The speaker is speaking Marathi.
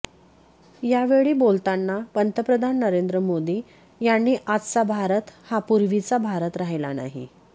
या वेळी बोलताना पंतप्रधान नरेंद्र मोदी यांनी आजचा भारत हा पूर्वीचा भारत राहिला नाही